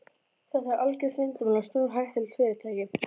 Þetta er algjört leyndarmál og stórhættulegt fyrirtæki.